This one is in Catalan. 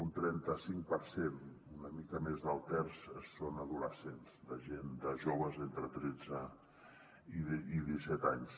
un trenta cinc per cent una mica més d’un terç són adolescents joves entre tretze i disset anys